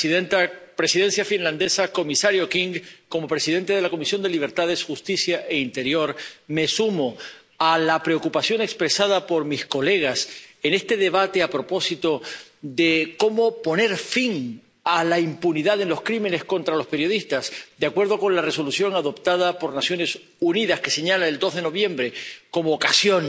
Señora presidenta, Presidencia finlandesa, comisario King, como presidente de la Comisión de Libertades Civiles, Justicia y Asuntos de Interior me sumo a la preocupación expresada por mis colegas en este debate a propósito de cómo poner fin a la impunidad de los crímenes contra los periodistas, de acuerdo con la Resolución adoptada por las Naciones Unidas, que señala el 2 de noviembre como ocasión